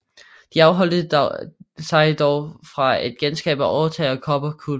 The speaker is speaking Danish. De afholdt sig dog fra at genskabe overetagen og kobberkuplen